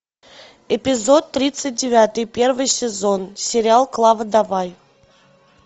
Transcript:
эпизод тридцать девятый первый сезон сериал клава давай